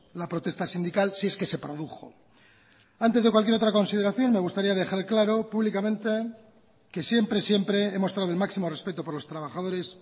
la protesta sindical si es que se produjo antes de cualquier otra consideración me gustaría dejar claro públicamente que siempre siempre he mostrado el máximo respeto por los trabajadores